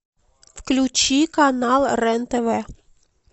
включи канал рен тв